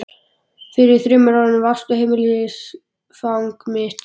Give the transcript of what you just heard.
Fyrir þremur árum varstu heimilisfang mitt.